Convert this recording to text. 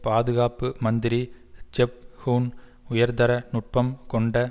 பாதுகாப்பு மந்திரி Geoff Hoon உயர்தர நுட்பம் கொண்ட